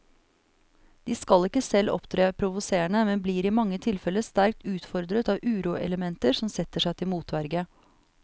De skal ikke selv opptre provoserende, men blir i mange tilfelle sterkt utfordret av uroelementer som setter seg til motverge.